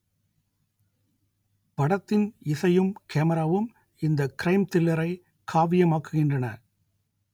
படத்தின் இசையும் கேமராவும் இந்த க்ரைம் த்ரில்லரை காவியமாக்குகின்றன